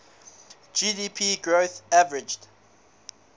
gdp growth averaged